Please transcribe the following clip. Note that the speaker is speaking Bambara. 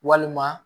Walima